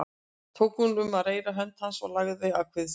Tók hún um reyrða hönd hans og lagði að kvið sér.